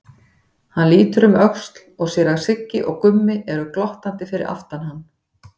Hann lítur um öxl og sér að Siggi og Gummi eru glottandi fyrir aftan hann.